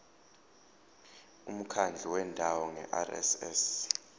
umkhandlu wendawo ngerss